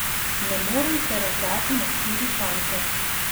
Ne morem se razdati na štiri konce.